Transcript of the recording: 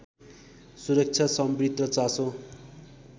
सुरक्षासम्बद्ध चासो